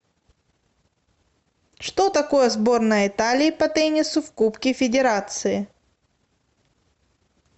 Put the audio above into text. что такое сборная италии по теннису в кубке федерации